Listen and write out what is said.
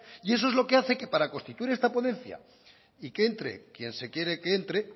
y eso es lo que hace que para constituir esta ponencia y que entre quien se quiere que entre